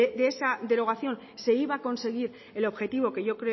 de esa derogación se iba a conseguir el objetivo que yo